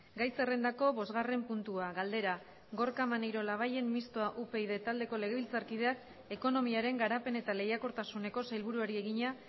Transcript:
gai zerrendako bosgarren puntua galdera gorka maneiro labayen mistoa upyd taldeko legebiltzarkideak ekonomiaren garapen eta lehiakortasuneko sailburuari egina